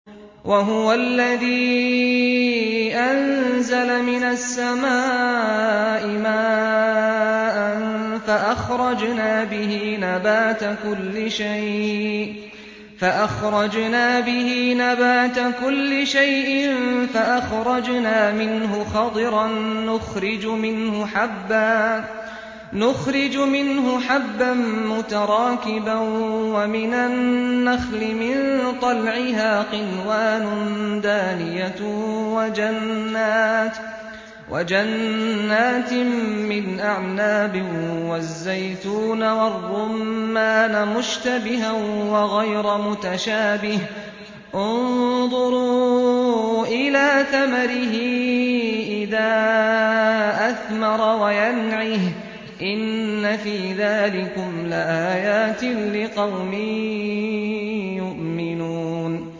وَهُوَ الَّذِي أَنزَلَ مِنَ السَّمَاءِ مَاءً فَأَخْرَجْنَا بِهِ نَبَاتَ كُلِّ شَيْءٍ فَأَخْرَجْنَا مِنْهُ خَضِرًا نُّخْرِجُ مِنْهُ حَبًّا مُّتَرَاكِبًا وَمِنَ النَّخْلِ مِن طَلْعِهَا قِنْوَانٌ دَانِيَةٌ وَجَنَّاتٍ مِّنْ أَعْنَابٍ وَالزَّيْتُونَ وَالرُّمَّانَ مُشْتَبِهًا وَغَيْرَ مُتَشَابِهٍ ۗ انظُرُوا إِلَىٰ ثَمَرِهِ إِذَا أَثْمَرَ وَيَنْعِهِ ۚ إِنَّ فِي ذَٰلِكُمْ لَآيَاتٍ لِّقَوْمٍ يُؤْمِنُونَ